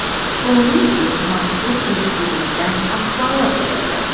Oliy sud mazkur ish yuzasidan axborot berdi .